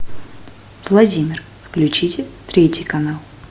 владимир включите третий канал